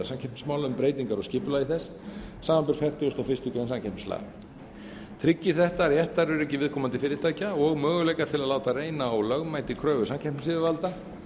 um breytingar á skipulagi þess samanber fertugustu og fyrstu grein samkeppnislaga tryggir þetta réttaröryggi viðkomandi fyrirtækja og möguleika til að láta reyna á lögmæti kröfu samkeppnisyfirvalda